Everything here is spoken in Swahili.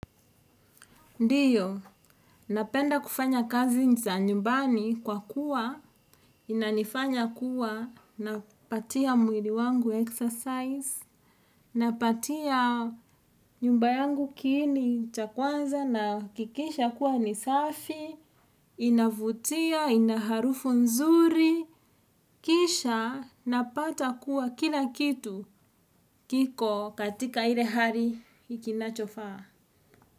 Ndiyo, napenda kufanya kazi za nyumbani kwa kuwa, inanifanya kuwa, napatia mwili wangu exercise, napatia nyumba yangu kiini cha kwanza nahakikisha kuwa ni safi, inavutia, inaharufu nzuri, kisha, napata kuwa kila kitu kiko katika ile hari ikinachofaa.